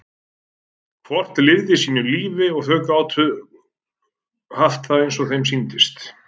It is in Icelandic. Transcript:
Hvort lifði sínu lífi og þau gátu haft það eins og þeim sýndist.